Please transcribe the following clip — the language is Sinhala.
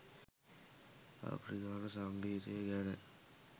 අප්‍රිකානු සංගීතය ගැන